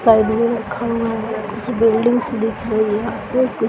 side में रखा हुआ है कुछ बिल्डिंगस दिख रही हैं और कुछ --